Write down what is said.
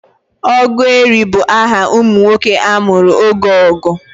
Ogueri bụ aha ụmụ nwoke a mụrụ oge ọgụ.